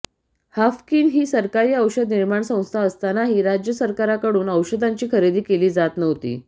Haffkine ही सरकारी औषध निर्माण संस्था असतानाही राज्य सरकारकडून औषधांची खरेदी केली जात नव्हती